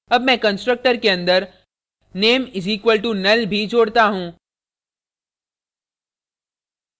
add मैं constructor के अंदर name = null; भी जोडता हूँ